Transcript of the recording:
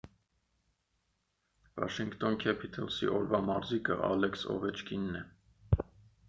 վաշինգթոն քեփիթըլսի օրվա մարզիկը ալեքս օվեչկինն է